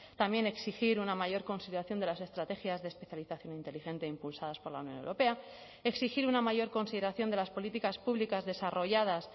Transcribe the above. también exigir una mayor consideración de las estrategias de especialización inteligente impulsadas por la unión europea exigir una mayor consideración de las políticas públicas desarrolladas